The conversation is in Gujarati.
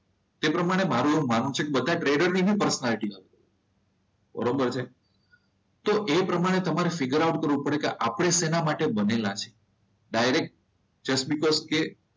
તે પ્રમાણે મારું એવું માનવું છે કે બધા ટ્રેડરની પર્સનાલિટી છે. બરોબર છે તો એ પ્રમાણે તમારે ફિગર આઉટ કરવું પડે કે આપણે શેના માટે બનેલા છીએ ડાયરેક્ટ બીકસ કે